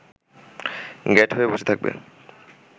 গ্যাঁট হয়ে বসে থাকবে